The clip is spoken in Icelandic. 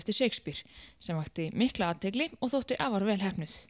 eftir Shakespeare sem vakti mikla athygli og þótti afar vel heppnuð